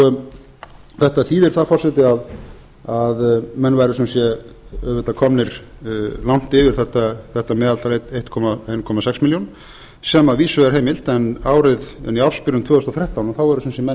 er þetta þetta þýðir það forseti að menn væru sem sé auðvitað komnir langt yfir þetta meðaltal eitt komma sex milljónir sem að vísu er heimilt en í ársbyrjun tvö þúsund og þrettán eru menn sem sé